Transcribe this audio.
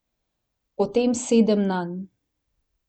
Potem sedem nanj.